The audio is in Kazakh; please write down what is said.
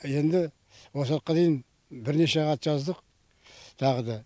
енді осы уақытқа дейін бірнеше хат жаздық тағы да